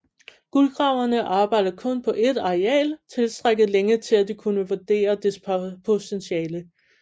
Guldgraverne arbejdede kun på et areal tilstrækkeligt længe til at de kunne vurdere dets potentiale